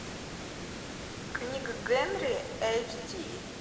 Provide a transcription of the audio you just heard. книга генри эйч ди